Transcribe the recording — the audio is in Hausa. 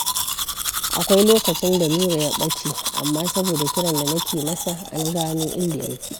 Akwai lokacin da Nura ya ɓace, amma saboda kiran da nake masa, an gano inda yake.